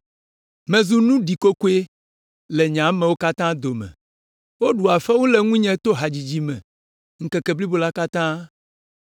Mezu nu ɖikokoe le nye amewo katã dome, woɖua fewu le ŋunye to hadzidzi me ŋkeke blibo la katã.